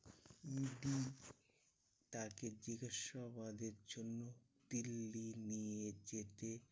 ED তাকে জিজ্ঞাসাবাদের জন্য দিল্লি নিয়ে যেতে